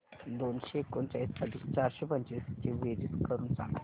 दोनशे एकोणचाळीस अधिक चारशे पंचवीस ची बेरीज करून सांगा